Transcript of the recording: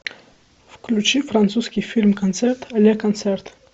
включи французский фильм концерт ле концерт